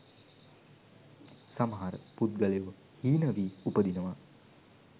සමහර පුද්ගලයෝ හීන වී උපදිනවා.